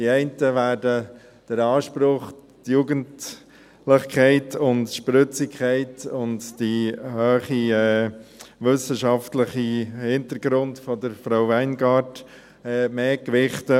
Die einen werden den Anspruch, die Jugendlichkeit, die Spritzigkeit und den hohen wissenschaftlichen Hintergrund von Frau Weingart mehr gewichten.